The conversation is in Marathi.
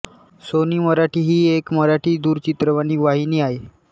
सोनी मराठी ही एक मराठी दूरचित्रवाणी वाहिनी आहे